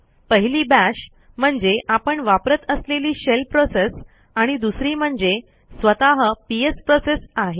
पहिली bashम्हणजे आपण वापरत असलेली शेल प्रोसेस आणि दुसरी म्हणजे स्वतः पीएस प्रोसेस आहे